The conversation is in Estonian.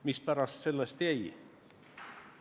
Mis pärast sellest jäi?